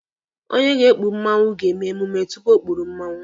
Onye ga-ekpu mmanwụ ga-emume tupu o kpuru mmanwụ